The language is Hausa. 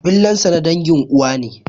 Billansa na dangin uwa ne.